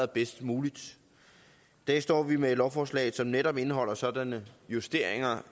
bedst muligt i dag står vi med et lovforslag som netop indeholder sådanne justeringer